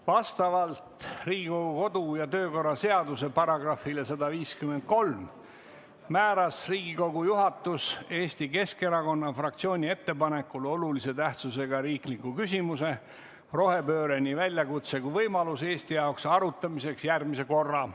Vastavalt Riigikogu kodu- ja töökorra seaduse §-le 153 määras Riigikogu juhatus Eesti Keskerakonna fraktsiooni ettepanekul olulise tähtsusega riikliku küsimuse "Rohepööre – nii väljakutse kui võimalus Eesti jaoks" arutamiseks järgmise korra.